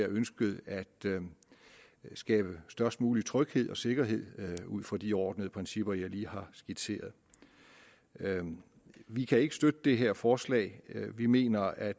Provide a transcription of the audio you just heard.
ønsket at skabe størst mulig tryghed og sikkerhed ud fra de overordnede principper jeg lige har skitseret vi kan ikke støtte det her forslag vi mener at